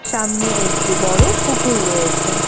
সামনে একটি বড়ো পুকুর রয়েছে।